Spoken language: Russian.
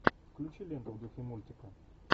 включи ленту в духе мультика